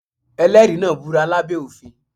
Ẹlẹ́rìí náà búra lá bẹ́ òfin.